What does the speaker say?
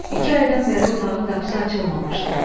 İki aydan bəri otağın qapısı açılmamışdı.